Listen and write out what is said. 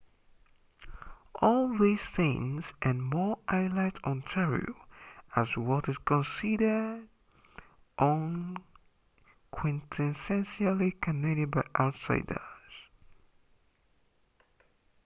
all these things and more highlight ontario as what is considered quintessentially canadian by outsiders